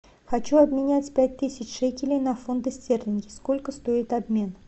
хочу обменять пять тысяч шекелей на фунты стерлинги сколько стоит обмен